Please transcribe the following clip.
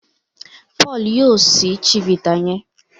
Paul yíò síi chivita yen.